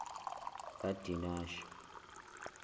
kadinashe